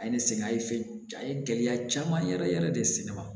A ye ne sɛgɛn a ye fɛn a ye gɛlɛya caman yɛrɛ yɛrɛ de se ne ma